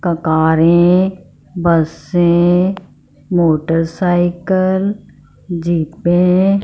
कारें बसें मोटरसाइकिल जीपें ।